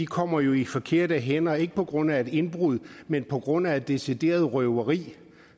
kommer i de forkerte hænder er ikke på grund af et indbrud men på grund af et decideret røveri